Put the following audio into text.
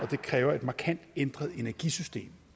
det kræver et markant ændret energisystem